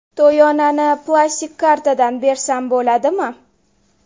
To‘yonani plastik kartadan bersam bo‘ladimi?